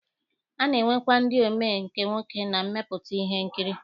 A na-enwekwa ndi omee nke nwoke na mmepụta ihe nkiri.